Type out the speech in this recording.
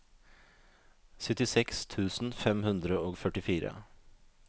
syttiseks tusen fem hundre og førtifire